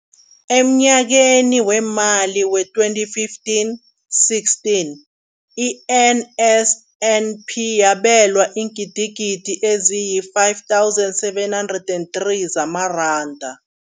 Emnyakeni weemali we-2015, 16, i-NSNP yabelwa iingidigidi ezi-5 703 zamaranda.